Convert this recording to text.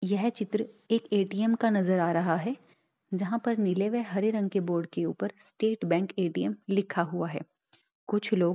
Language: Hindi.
यह चित्र एक ए_टी_एम का नजर आ रहा है जहां पर नीले व हरे रंग के बोर्ड के ऊपर स्टेट बेंक एटीएम लिखा हुआ है कुछ लोग --